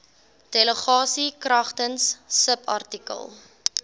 delegasie kragtens subartikel